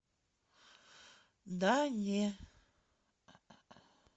да не